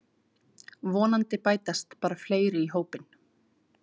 Vonandi bætast bara fleiri í hópinn